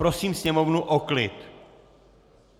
Prosím sněmovnu o klid!